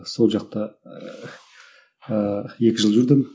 сол жақта ыыы екі жыл жүрдім